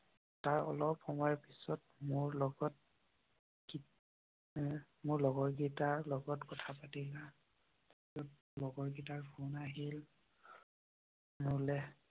তাৰ অলপ সময় পিছত মোৰ লগত, মোৰ লগৰীয়া কেইটাৰ লগত কথা পাতিলা। লগৰীয়া কেইটাৰ ফোন আহিল।